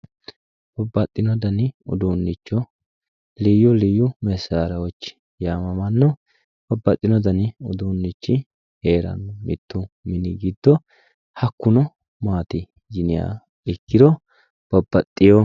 Babbaxino danni uduunicho liyu liyu masarawochi yamamano babbaxino danni uduunichi heerano mittu mini giddo hakkuno maati yinniha ikkiro babbaxeyo.